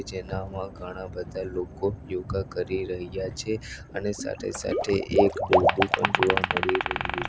જેનામાં ઘણા બધા લોકો યોગા કરી રહ્યા છે અને સાથે સાથે એક દોરડુ પણ જોવા મળી રહ્યું --